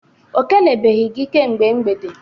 O kelebeghi gị kemgbe mgbede